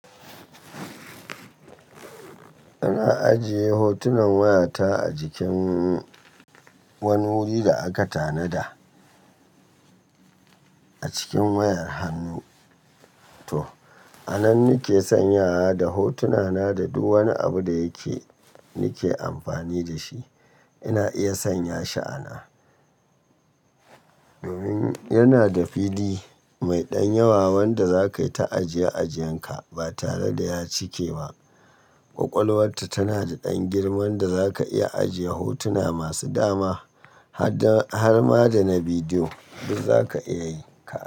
Ina ajiye hotunan wayata a jikin wani wuri da aka tanada a cikin wayar hannu to a nan nake sanyawa da hotuna na da duk wani abu da yake nake amfani da shi. Ina iya sanya shi ana domin yana da fili mai ɗan yawa wanda za ka yi ta ajiye ajiyan ka ba tare da ya cike ba. Kwakwalwarta tana da ɗan girman da za ka iya ajiye hotuna masu dama har ma da na bidiyo duk za ka iya yi.